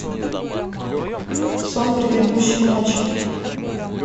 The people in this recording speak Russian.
сон предыдущей ночи